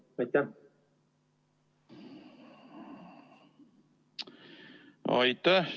Aitäh!